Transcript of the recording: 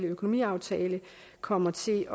økonomiaftale kommer til